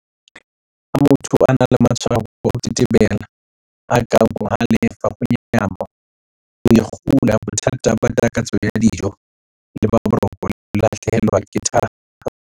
Ha motho a na le matshwao a ho tetebela, a kang ho halefa, ho nyahama, ho ikgula, bothata ba takatso ya dijo le ba boroko, le ho lahlehelwa ke thahasello